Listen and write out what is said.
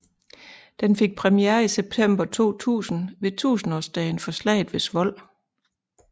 Den fik premiere i september 2000 ved tusindårsdagen for slaget ved Svold